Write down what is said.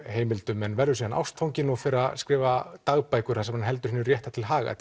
heimildum verður síðan ástfanginn og fer að skrifa dagbækur þar sem hann heldur hinu rétta til haga